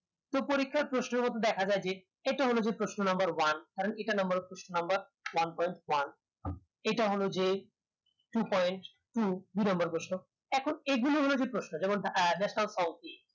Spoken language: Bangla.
তো পরীক্ষার প্রশ্ন মতো দেখা যাই যে এটা হলো যে প্রশ্ন number one ইটা হলো যে two point two দু নম্বর প্রশ্ন এখন এগুলো ওনাদের প্রশ্ন যেমন